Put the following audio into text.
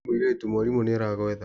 We mũirĩtu mwarimũ nĩ aragwetha.